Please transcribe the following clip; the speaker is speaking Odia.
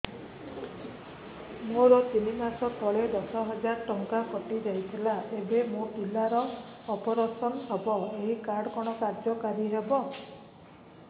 ମୋର ତିନି ମାସ ତଳେ ଦଶ ହଜାର ଟଙ୍କା କଟି ଯାଇଥିଲା ଏବେ ମୋ ପିଲା ର ଅପେରସନ ହବ ଏ କାର୍ଡ କଣ କାର୍ଯ୍ୟ କାରି ହବ